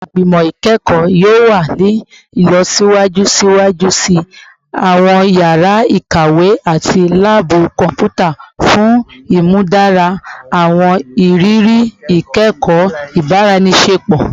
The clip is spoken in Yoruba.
Awọn igbimọ ikẹkọ yoo wa ni ilọsiwaju siwaju si awọn yara ikawe ati laabu kọnputa fun imudara awọn iriri ikẹkọ ibaraenisepo